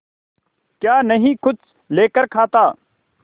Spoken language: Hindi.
क्या नहीं कुछ लेकर खाता